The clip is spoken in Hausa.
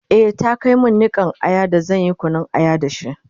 e ta Kai min Nikan Aya da zanyi Kunun aya da shi?